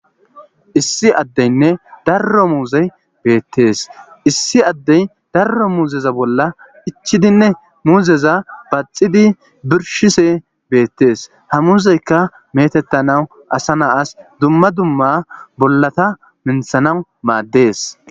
Issi addeynne darro muuzey beettees issi addey darro muuzeza bolla ichidinne muuzeza baaxidi birshise beettees hamuuzeykka metettanawu asa naas dumma dumma bollata minthanawu maaddees.